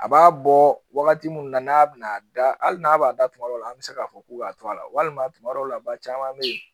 A b'a bɔ wagati mun na n'a bɛna da hali n'a b'a da tuma dɔw la an bɛ se k'a fɔ k'u b'a to a la walima tuma dɔw la ba caman bɛ yen